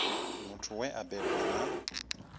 muthu we a bebwa na